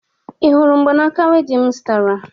Ị hụrụ mgbanaaka wedịn m zụtara?